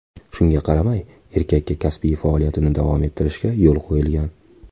Shunga qaramay, erkakka kasbiy faoliyatini davom ettirishga yo‘l qo‘yilgan.